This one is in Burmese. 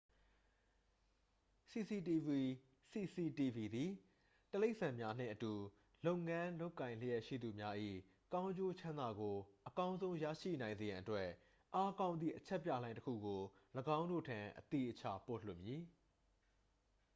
"""စီစီတီဗွီ cctv သည် တိရိစ္ဆာန်များနှင့်အတူ လုပ်ငန်း လုပ်ကိုင်လျက်ရှိသူများ၏ ကောင်းကျိုးချမ်းသာကို အကောင်းဆုံး ရရှိနိုင်စေရန်အတွက် အားကောင်းသည့် အချက်ပြလှိုင်းတစ်ခုကို ၄င်းတို့ထံ အသေအချာ ပို့လွှတ်မည်""